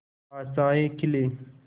आशाएं खिले